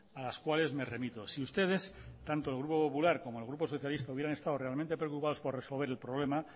a las cuales me remito si ustedes tanto el grupo popular como el grupo socialista hubieran estado realmente preocupados por resolver el problema